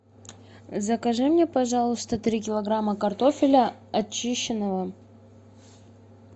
закажи мне пожалуйста три килограмма картофеля очищенного